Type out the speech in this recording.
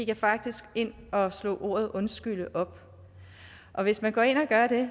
jeg faktisk gik ind og slog ordet undskylde op og hvis man går ind og gør det